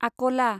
आक'ला